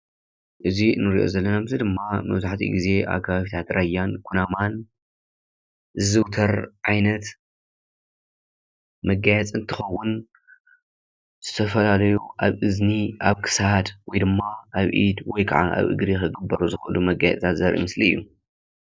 እዚ እንሪኦ ዘለና ምስሊ ድማ መብዛሕቲኡ ጊዜ ኣብ ከባብታት ራያን ኩናማን ዝዝውተር ዓይነት መጋየፂ እንትኸውን ዝተፈላለዩ ኣብ እዝኒ፣ ኣብ ክሳድ ወይ ድማ ኣብ ኢድ ወይ ከዓ ኣብ እግሪ ኽግበሩ ዝኽእሉ መጋየፅታት ዘርኢ ምስሊ እዩ፡፡